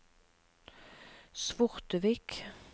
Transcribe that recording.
Svortevik